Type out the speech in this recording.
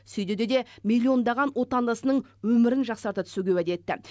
сүй деді де млн даған отандасының өмірін жақсарта түсуге уәде етті